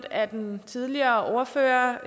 af den tidligere ordfører